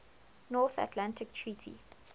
north atlantic treaty